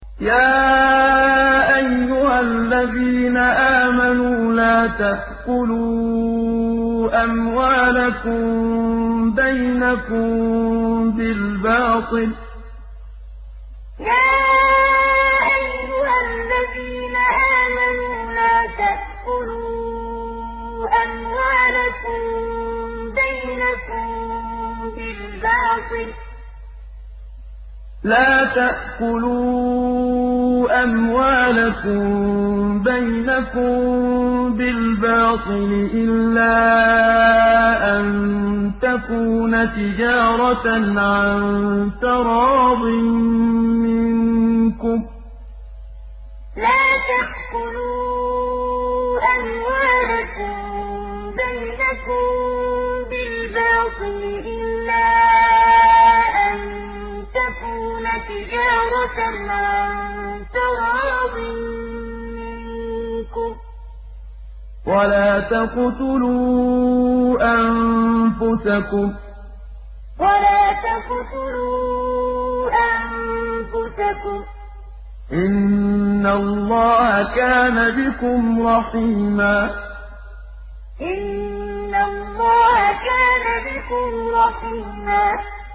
يَا أَيُّهَا الَّذِينَ آمَنُوا لَا تَأْكُلُوا أَمْوَالَكُم بَيْنَكُم بِالْبَاطِلِ إِلَّا أَن تَكُونَ تِجَارَةً عَن تَرَاضٍ مِّنكُمْ ۚ وَلَا تَقْتُلُوا أَنفُسَكُمْ ۚ إِنَّ اللَّهَ كَانَ بِكُمْ رَحِيمًا يَا أَيُّهَا الَّذِينَ آمَنُوا لَا تَأْكُلُوا أَمْوَالَكُم بَيْنَكُم بِالْبَاطِلِ إِلَّا أَن تَكُونَ تِجَارَةً عَن تَرَاضٍ مِّنكُمْ ۚ وَلَا تَقْتُلُوا أَنفُسَكُمْ ۚ إِنَّ اللَّهَ كَانَ بِكُمْ رَحِيمًا